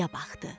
Quyuya baxdı.